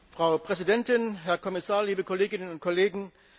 Frau Präsidentin, Herr Kommissar, liebe Kolleginnen und Kollegen!